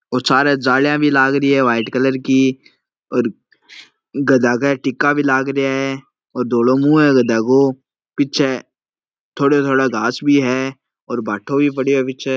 और सारे जालियां भी लाग रही है वाइट कलर की और गधा का एक टिक्का भी लग रिया है धोलो मुँह है गधा को पीछे थोड़ो थोड़ो घास भी है और भाटो भी पड्यो है पीछे।